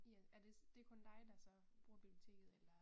I er er det det kun dig der så bruger biblioteket eller?